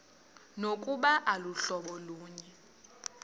nokuba aluhlobo lunye